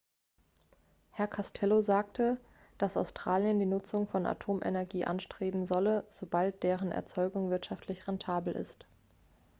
herr costello sagte dass australien die nutzung von atomenergie anstreben solle sobald deren erzeugung wirtschaftlich rentabel ist